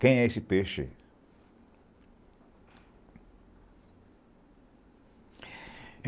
Quem é esse peixe?